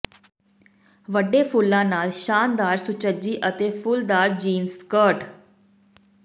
ਵੱਡੇ ਫੁੱਲਾਂ ਨਾਲ ਸ਼ਾਨਦਾਰ ਸੁਚੱਜੀ ਅਤੇ ਫੁੱਲਦਾਰ ਜੀਨਸ ਸਕਰਟ